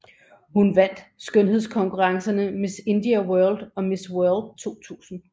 Hun vandt skønhedskonkurrenceerne Miss India World og Miss World 2000